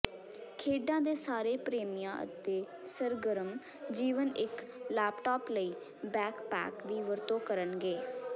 ਖੇਡਾਂ ਦੇ ਸਾਰੇ ਪ੍ਰੇਮੀਆਂ ਅਤੇ ਸਰਗਰਮ ਜੀਵਨ ਇੱਕ ਲੈਪਟਾਪ ਲਈ ਬੈਕਪੈਕ ਦੀ ਵਰਤੋਂ ਕਰਨਗੇ